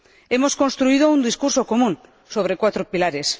Hemos construido un discurso común sobre cuatro pilares.